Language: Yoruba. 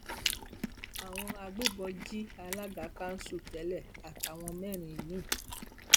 àwọn agbébọn jí alága kanṣu tẹlẹ àtàwọn mẹrin mi